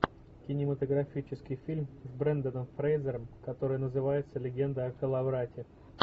кинематографический фильм с бренданом фрейзером который называется легенда о коловрате